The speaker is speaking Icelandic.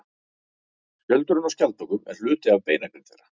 Skjöldurinn á skjaldbökum er hluti af beinagrind þeirra.